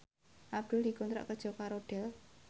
Abdul dikontrak kerja karo Dell